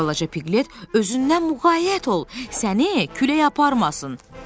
Balaca Piqlet özündən muğayət ol, səni külək aparmasın.